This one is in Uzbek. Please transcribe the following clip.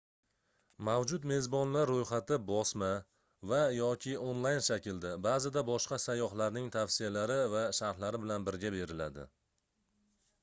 mavjud mezbonlar ro'yxati bosma va/yoki onlayn shaklda ba'zida boshqa sayyohlarning tavsiyalari va sharhlari bilan birga beriladi